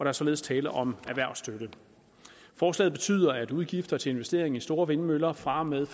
er således tale om erhvervsstøtte forslaget betyder at udgifter til investering i store vindmøller fra og med